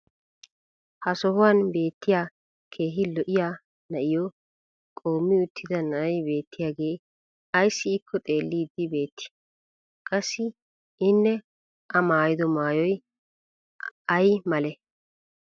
Ha sohuwan beetiya keehi lo'iya na'iyo qoomi uttida na'ay beettiyaagee ayssi ikko xeeliidi beetii? Qassi inne a maayido maayoy ayi malee?